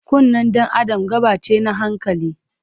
Kunnen dan Adam gaɓa ce na hankali.